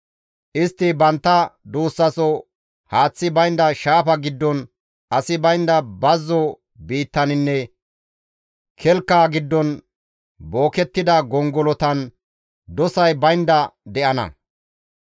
Istti bantta duussaso haaththi baynda shaafa giddon, asi baynda bazzo biittaninne kelka giddon bookettida gongolotan dosay baynda de7ida.